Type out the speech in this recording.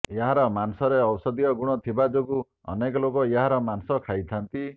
ଏହାର ମାଂସରେ ଔଷଧୀୟ ଗୁଣ ଥିବା ଯୋଗୁଁ ଅନେକ ଲୋକ ଏହାର ମାଂସ ଖାଇଥାନ୍ତି